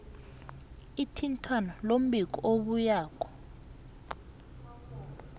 ithintwano lombiko obuyako